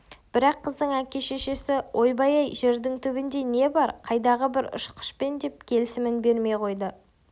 бірақ қыздың әке-шешесі ойбай-ай жердің түбінде не бар қайдағы бір ұшқышпен деп келісімін бермей қойды